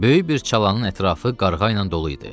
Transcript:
Böyük bir çalanın ətrafı qarğa ilə dolu idi.